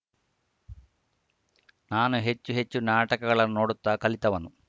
ನಾನು ಹೆಚ್ಚು ಹೆಚ್ಚು ನಾಟಕಗಳನ್ನು ನೋಡುತ್ತಾ ಕಲಿತವನು